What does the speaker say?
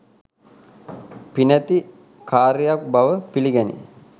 පිනැති කාරියක් බව පිළිගැනේ.